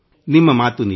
ನಿಮ್ಮ ಮಾತು ಸತ್ಯ